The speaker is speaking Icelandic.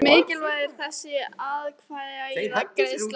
Hversu mikilvæg er þessi atkvæðagreiðsla?